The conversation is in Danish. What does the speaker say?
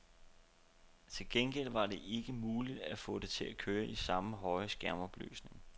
Til gengæld var det ikke muligt at få det til at køre i samme høje skærmopløsning.